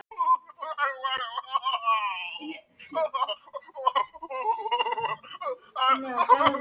Hvarf fyrir horn inn í næstu götu.